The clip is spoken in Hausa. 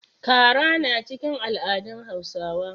Kara na cikin al'adun Hausawa.